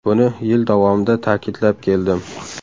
Buni yil davomida ta’kidlab keldim.